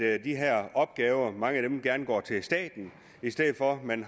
af de her opgaver går til staten i stedet for at man